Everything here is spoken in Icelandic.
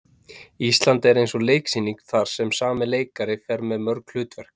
Ísland er eins og leiksýning þar sem sami leikari fer með mörg hlutverk.